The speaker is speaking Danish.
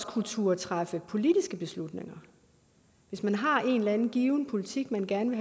kunne turde træffe politiske beslutninger hvis man har en given politik man gerne